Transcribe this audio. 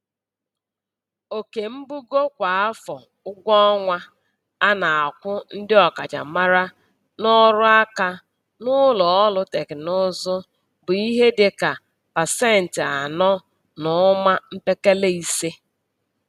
Oke mbugo kwa afọ ụgwọọnwa a na-akwụ ndị ọkachamara n'ọrụaka n'ụlọọrụ tekinụzụ bụ ihe dị ka pasentị anọ na ụma mpekele ise.